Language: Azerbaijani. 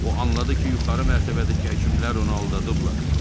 O anladı ki, yuxarı mərtəbədəki həkimlər onu aldadıblar.